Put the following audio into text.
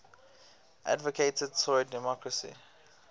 advocated tory democracy